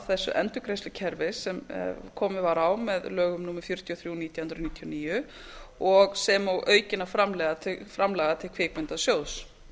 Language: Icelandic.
þessu endurgreiðslukerfi sem komið var á með lögum númer fjörutíu og þrjú nítján hundruð níutíu og níu og sem og aukinna framlaga vil kvikmyndasjóðs